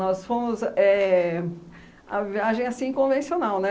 Nós fomos... Éh... A viagem, assim, convencional, né?